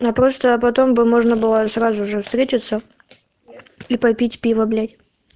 я просто а потом бы можно было сразу же встретиться и попить пива блять